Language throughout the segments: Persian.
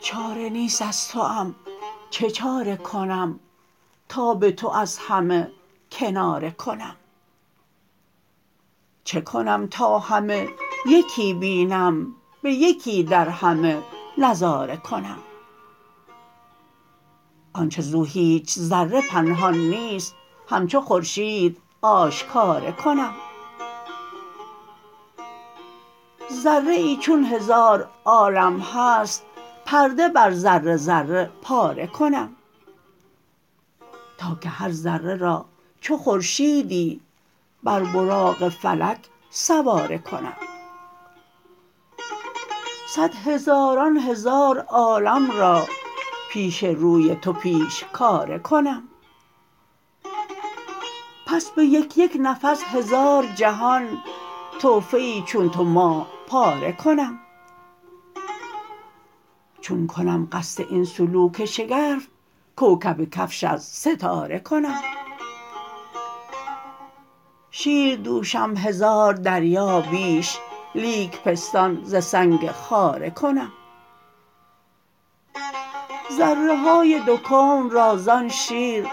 چاره نیست از توام چه چاره کنم تا به تو از همه کناره کنم چکنم تا همه یکی بینم به یکی در همه نظاره کنم آنچه زو هیچ ذره پنهان نیست همچو خورشید آشکاره کنم ذره آی چون هزار عالم هست پرده بر ذره ذره پاره کنم تا که هر ذره را چو خورشیدی بر براق فلک سواره کنم صد هزاران هزار عالم را پیش روی تو پیشکاره کنم پس به یک یک نفس هزار جهان تحفه چون تو ماه پاره کنم چون کنم قصد این سلوک شگرف کوکب کفش از ستاره کنم شیر دوشم هزار دریا بیش لیک پستان ز سنگ خاره کنم ذره های دو کون را زان شیر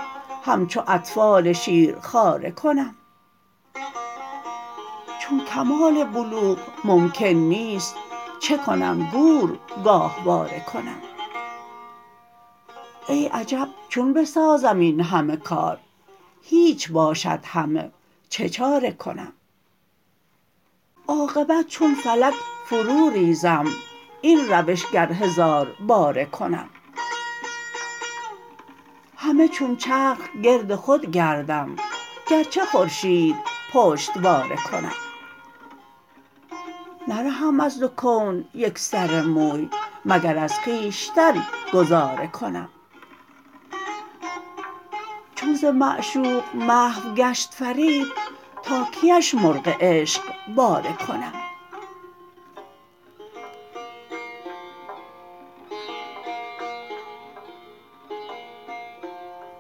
همچو اطفال شیرخواره کنم چون کمال بلوغ ممکن نیست چکنم گور گاهواره کنم ای عجب چون بسازم این همه کار هیچ باشد همه چه چاره کنم عاقبت چون فلک فرو ریزم این روش گر هزار باره کنم همه چون چرخ گرد خود گردم گرچه خورشید پشتواره کنم نرهم از دو کون یک سر موی مگر از خویشتن گذاره کنم چون ز معشوق محو گشت فرید تا کیش مرغ عشق باره کنم